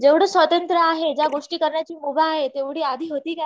जेव्हढ स्वातंत्र आहे जेव्हढ्या गोष्टी करण्याची मुभा आहे तेवढी आधी होती का?